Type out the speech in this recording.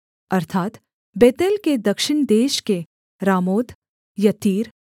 अर्थात् बेतेल के दक्षिण देश के रामोत यत्तीर